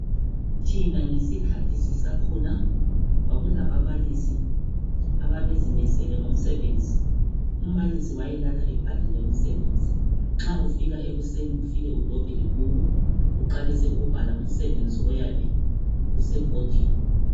thina ngesikhathi sisakhula kwakulababalisi ababezimisele ngomsebenzi umbalisi wayelala ebhalile umsebenzi nxa ufika ekuseni ufike udobhe ibhuku uqalise ukubhala umsebenzi oyabe usebhodini